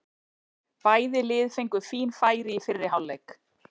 Bæði lið fengu fín færi í fyrri hálfleik.